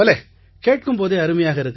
பலே கேட்கும் போதே அருமையாக